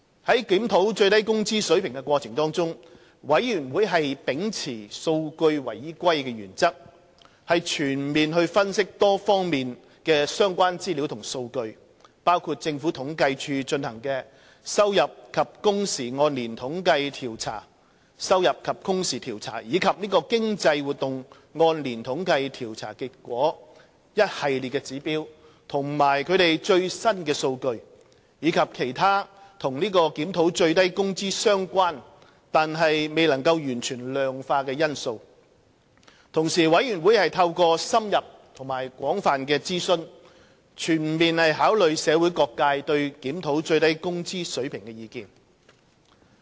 在檢討最低工資水平的過程中，最低工資委員會秉持數據為依歸的原則，全面分析多方面的相關資料及數據，包括政府統計處進行的收入及工時按年統計調查及經濟活動按年統計調查的結果、"一系列指標"及其最新數據，以及其他與檢討最低工資相關但未能完全量化的因素。同時，最低工資委員會透過深入及廣泛的諮詢，全面考慮社會各界對檢討最低工資水平的意見。